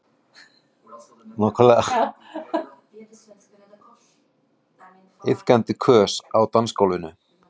Iðandi kös á dansgólfinu.